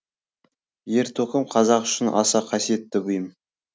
ер тоқым қазақ үшін аса қасиетті бұйым